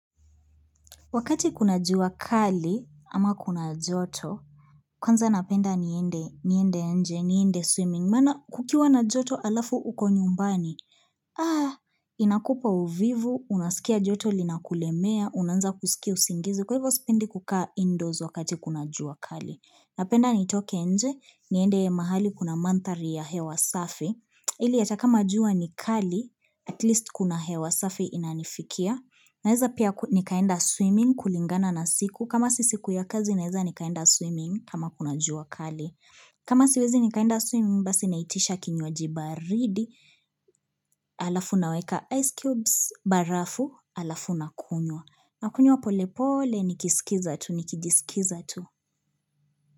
Wakati kuna jua kali ama kuna joto, kwanza napenda niende nje, niende swimming, maana kukiwa na joto alafu uko nyumbani, inakupa uvivu, unasikia joto linakulemea, unaanza kusikia usingizi, kwa hivyo sipendi kukaa indoors wakati kuna jua kali. Napenda nitoke nje, niende mahali kuna mandhari ya hewa safi, ili hata kama jua ni kali, atleast kuna hewa safi inanifikia. Naeza pia nikaenda swimming kulingana na siku, kama si siku ya kazi naeza nikaenda swimming kama kuna jua kali. Kama siwezi nikaenda swimming, basi naitisha kinywaji baridi, alafu naweka ice cubes, barafu, alafu nakunywa. Nakunywa pole pole, nikisikiza tu, nikijisikiza tu.